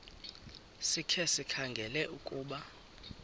sikhe sikhangele ukuba